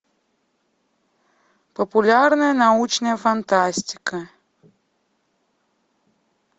популярная научная фантастика